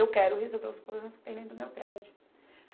Eu quero resolver os problemas que tem dentro do meu prédio.